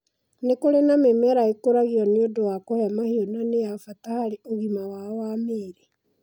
Nĩ kũri na mĩmera ĩkũragio nĩ ũndũ wa kũhe mahiũ na nĩ ya bata harĩ ũgima wao wa mĩĩrĩ.